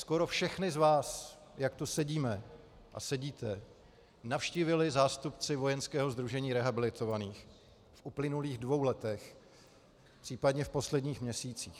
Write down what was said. Skoro všechny z vás, jak tu sedíme a sedíte, navštívili zástupci Vojenského sdružení rehabilitovaných v uplynulých dvou letech, případně v posledních měsících.